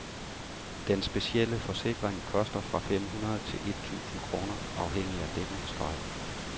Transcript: Den specielle forsikring koster fra fem hundrede til et tusinde kroner afhængig af dækningsgrad.